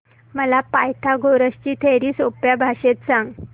मला पायथागोरस ची थिअरी सोप्या भाषेत सांग